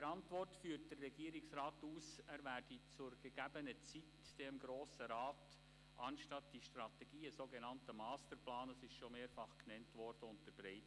In der Antwort führt der Regierungsrat aus, er werde dem Grossen Rat anstelle der Strategie zur gegebenen Zeit einen sogenannten Masterplan unterbreiten, wie bereits mehrfach erwähnt.